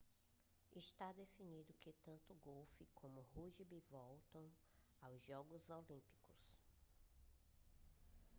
está definido que tanto golfe como rúgbi voltam aos jogos olímpicos